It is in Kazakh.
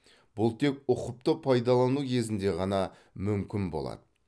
бұл тек ұқыпты пайдалану кезінде ғана мүмкін болады